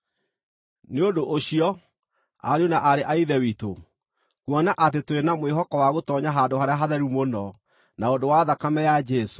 Nĩ ũndũ ũcio, ariũ na aarĩ a Ithe witũ, kuona atĩ tũrĩ na mwĩhoko wa gũtoonya Handũ-harĩa-Hatheru-Mũno, na ũndũ wa thakame ya Jesũ,